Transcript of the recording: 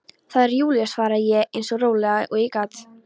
Það er Júlía svaraði ég eins rólega og ég gat.